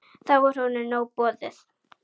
Þá var honum nóg boðið.